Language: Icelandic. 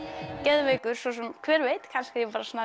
geðveikur svo sem hver veit kannski